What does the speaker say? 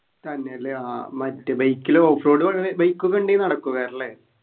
തന്നെല്ലേ ആഹ് മറ്റേ bike ൽ off road ഏർ bike ഒക്കെ ഉണ്ടേൽ നടക്കുവാറല്ലേ